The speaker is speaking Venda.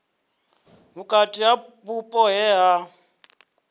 vhukati ha vhupo he ha